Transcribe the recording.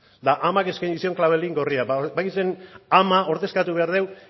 eta amak eskaini zion klabelin gorria badakizue ama ordezkatu behar dugu